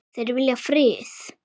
Þeir vilja frið.